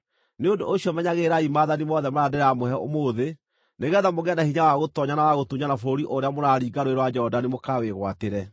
Nĩ ũndũ ũcio menyagĩrĩrai maathani mothe marĩa ndĩramũhe ũmũthĩ, nĩgeetha mũgĩe na hinya wa gũtoonya na wa gũtunyana bũrũri ũrĩa mũraringa Rũũĩ rwa Jorodani mũkawĩgwatĩre,